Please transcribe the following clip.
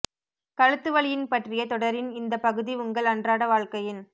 கழுத்து வலியின் பற்றிய தொடரின் இந்த பகுதி உங்கள் அன்றாட வாழ்க்கையின்